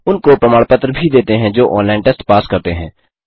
उनको प्रमाण पत्र भी देते हैं जो ऑनलाइन टेस्ट पास करते हैं